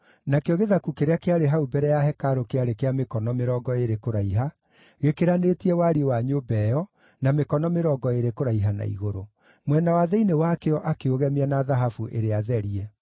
Nakĩo gĩthaku kĩrĩa kĩarĩ hau mbere ya hekarũ kĩarĩ kĩa mĩkono mĩrongo ĩĩrĩ kũraiha, gĩkĩranĩtie wariĩ wa nyũmba ĩyo, na mĩkono mĩrongo ĩĩrĩ kũraiha na igũrũ. Mwena wa thĩinĩ wakĩo akĩũgemia na thahabu ĩrĩa therie.